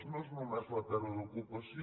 no és només la pèrdua d’ocupació